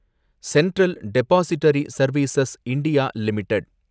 central depository service India limited